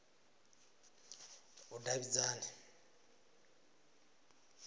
vhudavhidzani